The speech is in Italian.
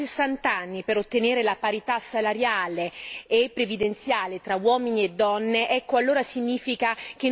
e previdenziale tra uomini e donne, ecco, allora significa che non siamo riusciti a fare la differenza.